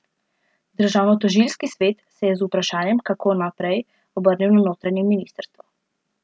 Državnotožilski svet se je z vprašanjem, kako naprej, obrnil na notranje ministrstvo.